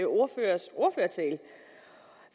ordførers ordførertale